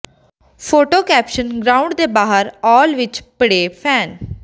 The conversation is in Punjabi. ਫੋਟੋ ਕੈਪਸ਼ਨ ਗਰਾਊਂਡ ਦੇ ਬਾਹਰ ਆੁਲ ਵਿਚ ਭਿੜੇ ਫੈਨ